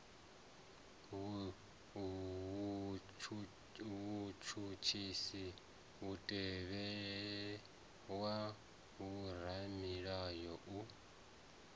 vhutshutshisi mutevhe wa vhoramilayo u